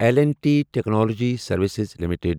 L and T technology services limited